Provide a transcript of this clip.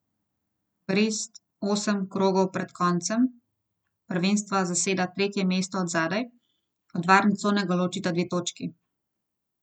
Brest osem krogov pred koncem prvenstva zaseda tretje mesto od zadaj, od varne cone ga ločita dve točki.